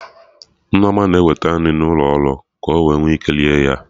Nneoma na-eweta nri n'ụlo ọrụ ka ọ nwee ike ree ya